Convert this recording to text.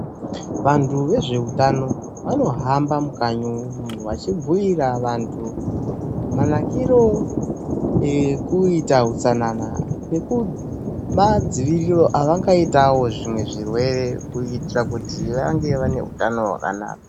Vantu vezveutano vanohamba mukanyi umwu vachibhuira vantu manakiro ekuita utsanana nemadziviriro avangaita zvimwe zvirwere kuitira kuti vanga vaine utano hwakanaka.